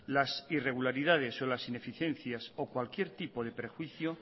las irregularidades o las ineficiencias o cualquier tipo de prejuicio